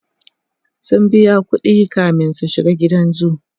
sun biya ƙuɗi kamin su shiga gidan zoo